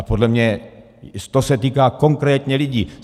A podle mě se to týká konkrétně lidí.